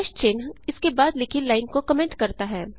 चिन्ह इसके बाद लिखी लाइन को कमेंट करता है